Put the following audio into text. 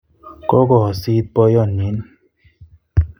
Kokoosit boiyotnin